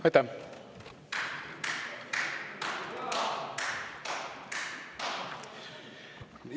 Aitäh!